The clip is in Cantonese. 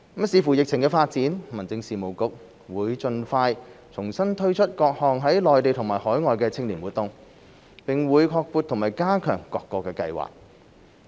視乎疫情發展，民政事務局會盡快重新推出各項內地和海外青年活動，並會擴闊和加強各個計劃。